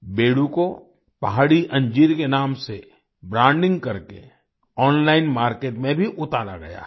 बेडू को पहाड़ी अंजीर के नाम से ब्रांडिंग करके ओनलाइन मार्केट में भी उतारा गया है